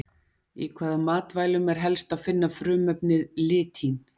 Í hvaða matvælum er helst að finna frumefnið litín?